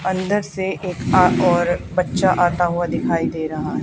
अंदर से एक अह और बच्चा आता हुआ दिखाई दे रहा है।